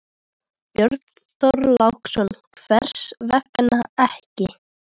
Björn Þorláksson: Hvers vegna ekki?